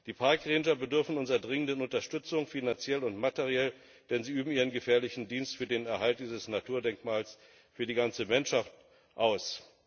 Die Park Ranger bedürfen unserer dringenden Unterstützung, finanziell und materiell, denn sie üben ihren gefährlichen Dienst für den Erhalt dieses Naturdenkmals für die ganze Menschheit aus.